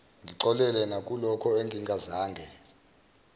ngixolele nakulokho engingazange